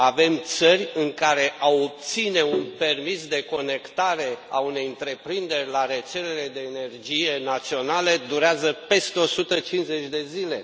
Avem țări în care a obține un permis de conectare a unei întreprinderi la rețelele de energie națională durează peste o sută cincizeci de zile.